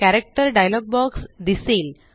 character dialog box दिसेल